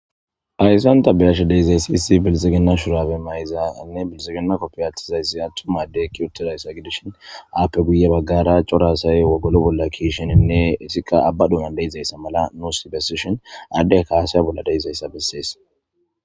Haysa ta betizaysi issi bilixigina shurabe mayizanne bilixigina kopiya athidaysi atuma adeyi eqi utidaysa gidishn aape guye bagara cora asayi wogolo bolla ke'iishn , etika aba dunani de'izaysa mala nuusi besishn , addeyka hasa'a bolla nusi de'izaysa besesi.